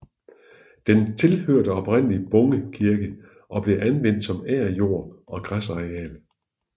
Den tilhørte oprindelig Bunge Kirke og blev anvendt som agerjord og græsarealer